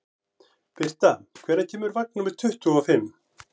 Birta, hvenær kemur vagn númer tuttugu og fimm?